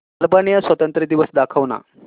Albania स्वातंत्र्य दिवस दाखव ना